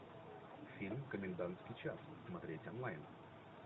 фильм комендантский час смотреть онлайн